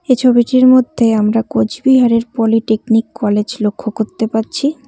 এই ছবিটির মধ্যে আমরা কোচবিহারের পলিটেকনিক কলেজ লক্ষ্য করতে পারছি।